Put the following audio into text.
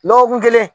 Dɔgɔkun kelen